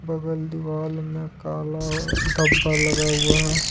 बगल दीवाल में काला और धब्बा लगा हुआ है।